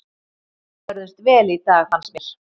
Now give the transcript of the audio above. Við börðumst vel í dag fannst mér.